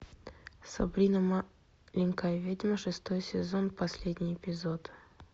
сабрина маленькая ведьма шестой сезон последний эпизод